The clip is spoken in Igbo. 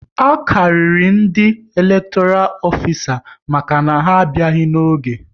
A karịrị ndị elektoral ofisa maka na ha abịaghị n'oge